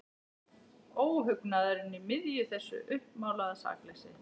Óhugnaðurinn í miðju þessu uppmálaða sakleysi.